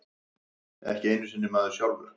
Ekki einu sinni maður sjálfur.